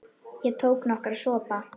Ég tók nokkra sopa.